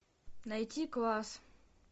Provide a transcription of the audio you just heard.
найти класс